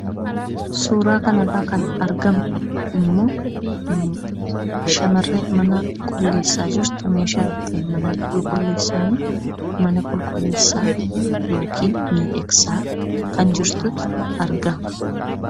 Suuraa kanarraa kan argamu shamarree mana qulleessaa jirtu; meeshaa ittiin mana qulqulleessaniin mana qulqulleessaa yookiin miidhagsaa kan jirtutu argama.